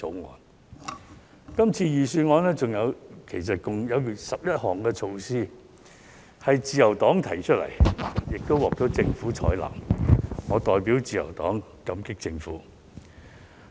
在這次財政預算案中，其實共有11項措施是由自由黨提出，並獲政府採納的，我代表自由黨感激政府。